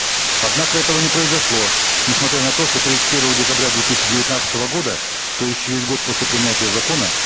однако этого не произошло несмотря на то что тридцать первого декабря две тысячи девятнадцатого года то есть через год после принятия закона